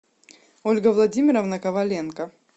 ольга владимировна коваленко